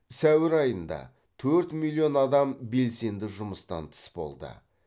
сәуір айында төрт миллион адам белсенді жұмыстан тыс болды